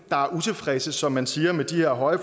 der er utilfredse som man siger med det her høje